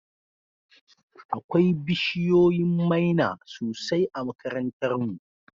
Akwai bishiyoyin maina sosai a makarantar mu.